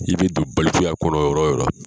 I bɛ don balikuya kɔnɔ yɔrɔ yɔrɔ